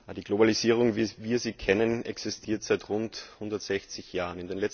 Die Globalisierung, wie wir sie kennen, existiert seit rund 160 Jahren.